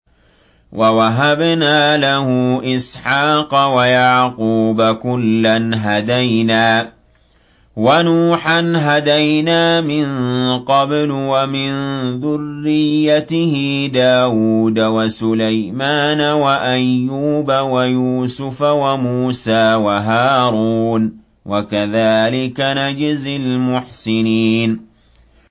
وَوَهَبْنَا لَهُ إِسْحَاقَ وَيَعْقُوبَ ۚ كُلًّا هَدَيْنَا ۚ وَنُوحًا هَدَيْنَا مِن قَبْلُ ۖ وَمِن ذُرِّيَّتِهِ دَاوُودَ وَسُلَيْمَانَ وَأَيُّوبَ وَيُوسُفَ وَمُوسَىٰ وَهَارُونَ ۚ وَكَذَٰلِكَ نَجْزِي الْمُحْسِنِينَ